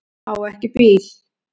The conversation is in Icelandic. Á ekki bíl